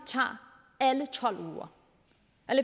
tager alle